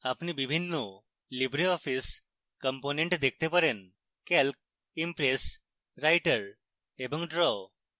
আপনি বিভিন্ন libreoffice components দেখতে পারেন calc impress writer এবং draw